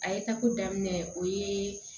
A ye tako daminɛ o ye